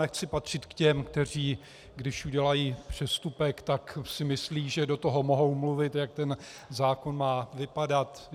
Nechci patřit k těm, kteří když udělají přestupek, tak si myslí, že do toho mohou mluvit, jak ten zákon má vypadat.